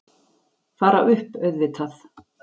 Fara upp, auðvitað.